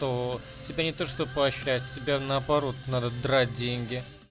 тебя не то что прощать тебя наоборот надо драть деньги